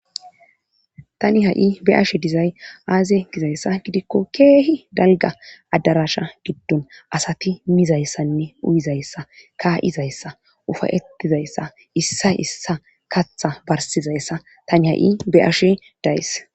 Tani ha7i be7ashe dizay azze gizayssa gidikko keehi dalgga addaraasha giddon asati mizayssanne uyizayssa kaaaa7izayssa ufayettizayssa issay issa katha barssizayssa tani ha7i be7ashe days.